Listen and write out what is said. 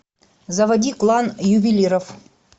заводи клан ювелиров